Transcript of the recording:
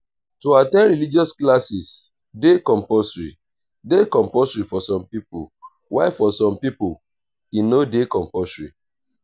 to at ten d religious classes de compulsory de compulsory for some pipo while for some pipo e no de compulsory